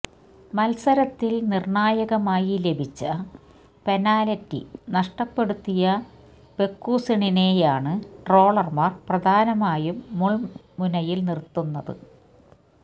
മത്സരത്തില് നിര്ണായകമായി ലഭിച്ച പെനാല്റ്റി നഷ്ടപ്പെടുത്തിയ പെക്കൂസണിനെയാണ് ട്രോളന്മാര് പ്രധാനമായും മുള്മുനയില് നിര്ത്തുന്നത്